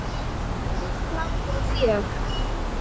Hlátur og fjör.